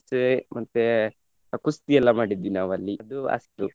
ಮತ್ತೆ ಕುಸ್ತಿ ಎಲ್ಲ ಮಾಡಿದ್ವಿ ನಾವು ಅಲ್ಲಿ ಅದು ಅಷ್ಟು.